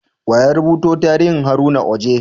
Wa ya rubuta tarihin Haruna Oji?